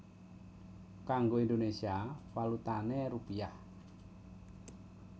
Kanggo Indonésia valutané rupiah